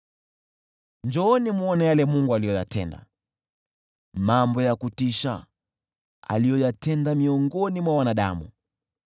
Njooni mwone yale Mungu aliyoyatenda, mambo ya kutisha aliyoyatenda miongoni mwa wanadamu!